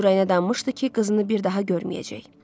Onun ürəyinə danmışdı ki, qızını bir daha görməyəcək.